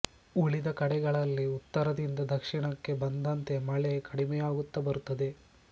ಉಳಿದ ಕಡೆಗಳಲ್ಲಿ ಉತ್ತರದಿಂದ ದಕ್ಷಿಣಕ್ಕೆ ಬಂದಂತೆ ಮಳೆ ಕಡಿಮೆಯಾಗುತ್ತ ಬರುತ್ತದೆ